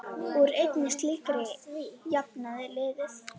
Úr einni slíkri jafnaði liðið.